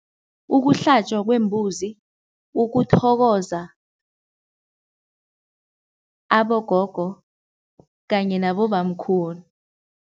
Ukuhlatjwa kwembuzi, ukuthokoza abogogo kanye nabobamkhulu.